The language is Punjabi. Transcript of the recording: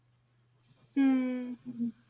ਹਮ ਹਮ